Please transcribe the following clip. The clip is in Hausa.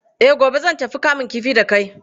Eh, gobe zan tafi kamun kifi da kai.